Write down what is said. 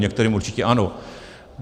Některým určitě ano.